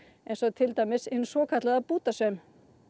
eins og til dæmis hinn svokallaða bútasaum